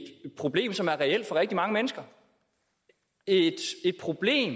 problem som er reelt for rigtig mange mennesker det er et problem